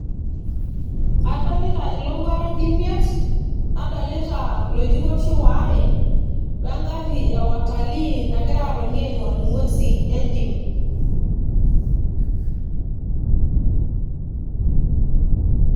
Adolita ilowuarak imiet ,nadolita iloitikoishi ware we engari e watalii nagira atoni aing'or ing'wesin entim.